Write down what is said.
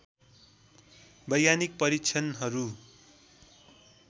वैज्ञानिक परीक्षणहरू